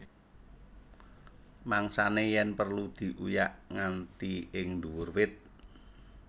Mangsané yèn perlu diuyak nganti ing nduwur wit